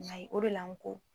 N ɲ'a ye o de la n ko